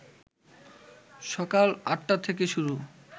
সকাল ৮টা থেকে শুরু